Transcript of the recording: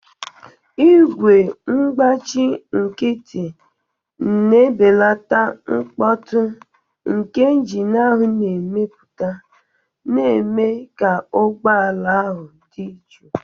Igwe ngbachi nkịtị na-ebelata mkpọtụ nke injin ahụ na-emepụta, na-eme ka ụgbọ ala ahụ dị jụụ.